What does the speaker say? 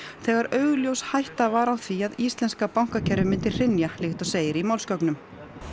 þegar augljós hætta var á því að íslenska bankakerfið myndi hrynja líkt og segir í málsgögnum